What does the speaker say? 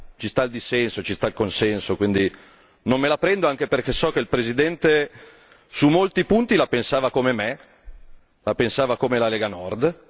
Ci sta il dissenso, ci sta il consenso, quindi non me la prendo, anche perché so che il presidente su molti punti la pensava come me, la pensava come la Lega Nord.